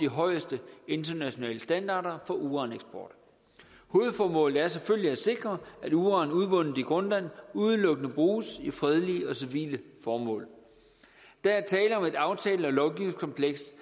højeste internationale standarder for uraneksport hovedformålet er selvfølgelig at sikre at uran udvundet i grønland udelukkende bruges til fredelige og civile formål der er tale om et aftale og lovgivningskompleks